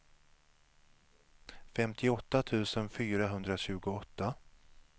femtioåtta tusen fyrahundratjugoåtta